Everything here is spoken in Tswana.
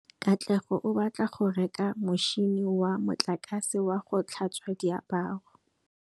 Katlego o batla go reka motšhine wa motlakase wa go tlhatswa diaparo.